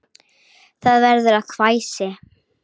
Það verður að hvæsi.